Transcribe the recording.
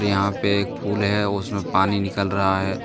यहां पे एक फूल है और उसमें पानी निकल रहा है।